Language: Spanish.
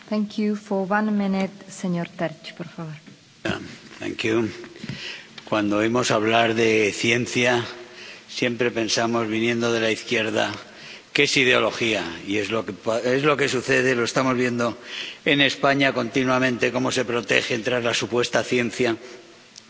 Señora presidenta, cuando oímos hablar de ciencia, siempre pensamos, viniendo de la izquierda, que es ideología, y es lo que sucede ⸺lo estamos viendo en España continuamente⸺ cómo se protegen tras la supuesta ciencia, para hacer barbaridades,